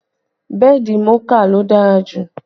Bẹ́ẹ̀dì Mouka ló dára jù